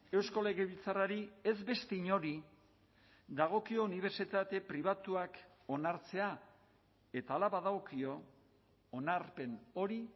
eusko legebiltzarrari ez beste inori dagokio unibertsitate pribatuak onartzea eta hala badagokio onarpen hori